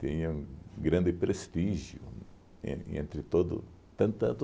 Tinham grande prestígio, en entre todo tan tanto